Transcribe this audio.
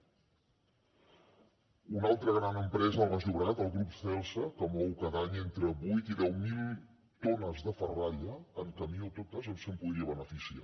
una altra gran empresa al baix llobregat el grup celsa que mou cada any entre vuit i deu mil tones de ferralla en camió totes se’n podria beneficiar